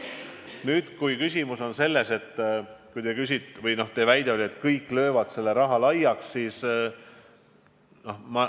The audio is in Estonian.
Nüüd, teie väide oli, et ehk kõik löövad selle raha laiaks.